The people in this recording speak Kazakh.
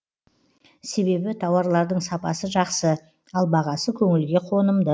себебі тауарлардың сапасы жақсы ал бағасы көңілге қонымды